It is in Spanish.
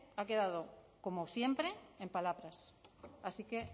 ha quedado como siempre en palabras así que